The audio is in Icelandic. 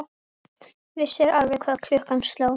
Vissir alveg hvað klukkan sló!